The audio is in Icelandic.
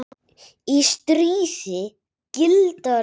Í stríði gilda reglur.